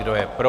Kdo je pro?